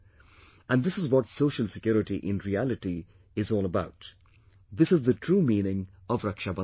And this is what social security in reality is all about; this is the true meaning of Raksha Bandhan